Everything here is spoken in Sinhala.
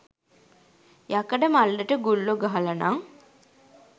යකඩ මල්ලට ගුල්ලො ගහලනං